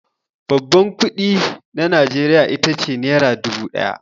Babban kuɗi na Najeriya ita ce nera dubu ɗaya.